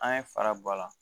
An ye fara bɔ a la